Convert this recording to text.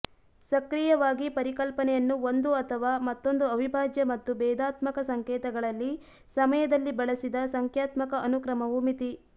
ಸಕ್ರಿಯವಾಗಿ ಪರಿಕಲ್ಪನೆಯನ್ನು ಒಂದು ಅಥವಾ ಮತ್ತೊಂದು ಅವಿಭಾಜ್ಯ ಮತ್ತು ಭೇದಾತ್ಮಕ ಸಂಕೇತಗಳಲ್ಲಿ ಸಮಯದಲ್ಲಿ ಬಳಸಿದ ಸಂಖ್ಯಾತ್ಮಕ ಅನುಕ್ರಮವು ಮಿತಿ